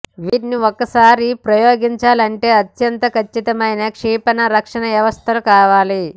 వీటిని ఒక్కసారి ప్రయోగించాలంటే అత్యంత కచ్చితమైన క్షిపణి రక్షణ వ్యవస్థలు కావాలి